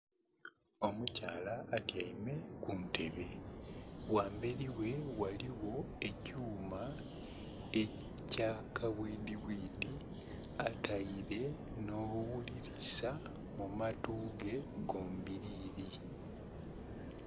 Omukyala atyaime ku ntebe gha emberi ghe ghaligho ekyuma ekya kabwidhi bwidhi ataire nho bughulilisa mu matu ge gombilili.